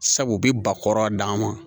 Sabu u bi ba kɔrɔ d'a ma